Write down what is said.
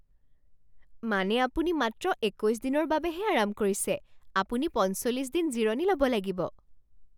মানে আপুনি মাত্ৰ একৈছ দিনৰ বাবেহে আৰাম কৰিছে? আপুনি পঞ্চল্লিছ দিন জিৰণি ল'ব লাগিব।